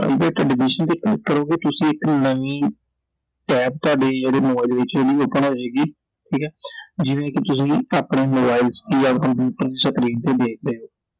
Private admission ਤੇ click ਕਰੋਗੇ ਤੁਸੀਂ ਇਥੇ ਨਵੀਂ Tab ਤੁਹਾਡੇ ਜਿਹੜੇ ਮੋਬਾਈਲ ਵਿਚ ਜਿਹੜੀ Open ਹੋਜੇਗੀ Iਠੀਕ ਐ I ਜਿਵੇਂ ਕਿ ਤੁਸੀਂ ਆਪਣੇ ਮੋਬਾਈਲ ਚ ਜਾਂ ਕੰਪਿਊਟਰ screen ਤੇ ਦੇਖ ਰਹੇ ਓ I